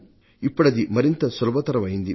ఇప్పుడది మరింత సులభతరం అయింది